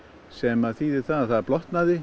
sem þýðir það að það blotnaði